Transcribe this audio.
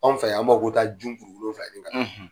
Anw fɛ yan, an b'a ko taa jun kuru wolonfila ɲini ka na